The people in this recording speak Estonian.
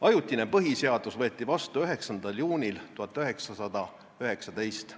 Ajutine põhiseadus võeti vastu 9. juulil 1919.